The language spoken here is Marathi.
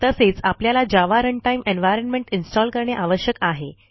तसेच आपल्याला जावा रनटाईम एन्व्हायर्नमेंट इन्स्टॉल करणे आवश्यक आहे